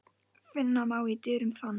Finna má í dyrum þann.